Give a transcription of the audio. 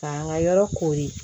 K'an ka yɔrɔ kori